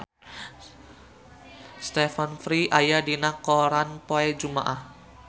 Stephen Fry aya dina koran poe Jumaah